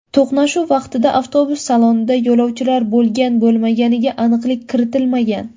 To‘qnashuv vaqtida avtobus salonida yo‘lovchilar bo‘lgan-bo‘lmaganiga aniqlik kiritilmagan.